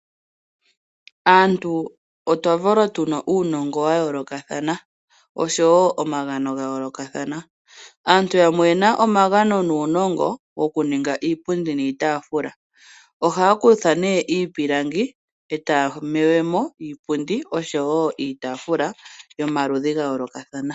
Aantu otwa valwa tu na uunongo wa yoolokathana oshowo omagano ga yoolokathana, aantu yamwe oyenl na omagano nuunongo woku lninga iipundi niitaafula. Ohaya kutha nee iipilangi e taya me mo iipundi oshowo iitaafula yomaludhi ga yoolokathana.